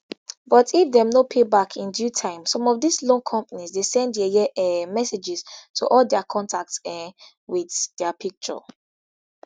but if dem no pay back in due time some of dis loan companies dey send yeye um messages to all dia contacts um wit dia picture